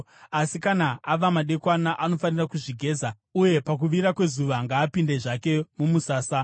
Asi kana ava madekwana anofanira kuzvigeza, uye pakuvira kwezuva ngaapinde zvake mumusasa.